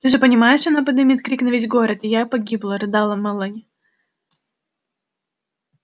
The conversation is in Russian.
ты же понимаешь она подымет крик на весь город и я погибла рыдала мелани